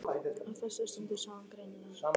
Á þessari stundu sá hann greinilega.